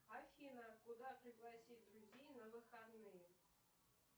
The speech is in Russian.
афина куда пригласить друзей на выходные